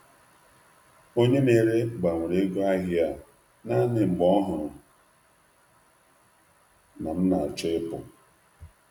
Onye na-ere ahịa gbanwere ọnụ ahịa naanị mgbe ọ hụrụ na m na-achọ ịpụ.